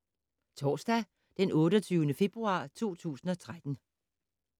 Torsdag d. 28. februar 2013